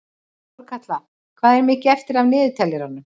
Þórkatla, hvað er mikið eftir af niðurteljaranum?